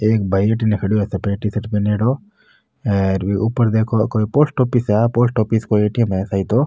एक भाई अठीने खड़ो है सफ़ेद टी-शर्ट पहनयोडो हेर बी ऊपर देखो कोई पोस्ट ऑफिस है आ पोस्ट ऑफिस को ए.टी.एम. है शायद ओ।